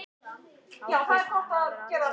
Þá getur maður alveg eins farið á sjóinn bara.